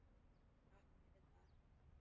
Takk fyrir það- sagði hann.